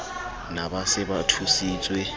na ba se ba thusitswe